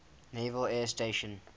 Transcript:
naval air station